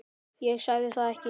Ég segi það ekki.